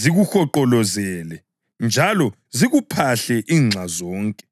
zikuhonqolozele njalo zikuphahle inxa zonke.